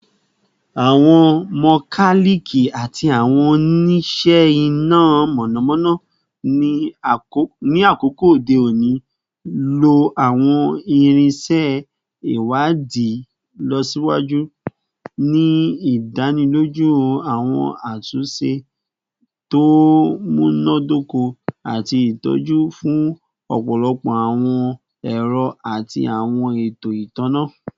Awọn mokaliki ati awọn onise ina mọnamọna ni akoko ode oni lo awọn irinṣẹ iwadii ilọsiwaju, ni idaniloju awọn atunṣe to munadoko ati itọju fun ọpọlọpọ awọn ẹrọ ati awọn eto itanna